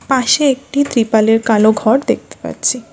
পাশে একটি ত্রিপালের কালো ঘর দেখতে পাচ্ছি।